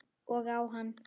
Og á hann.